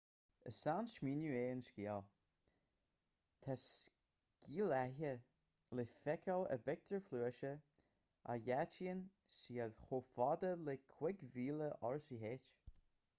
is seansmaoineamh é an sciáil tá sciálaithe le feiceáil i bpictiúir phluaise a dhátaíonn siad chomh fada le 5000 r.ch